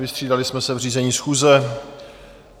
Vystřídali jsme se v řízení schůze.